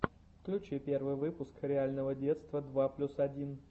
включи первый выпуск реального детства два плюс один